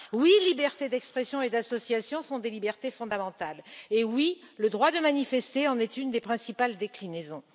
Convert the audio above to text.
Oui, liberté d'expression et d'association sont des libertés fondamentales et oui, le droit de manifester en est une des principales déclinaisons.